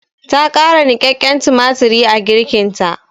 Ta ƙara niƙaƙƙen tumatiri a girkinta.